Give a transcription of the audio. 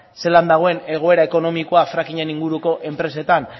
zelan dagoen egoera ekonomikoa fracking aren inguruko enpresetan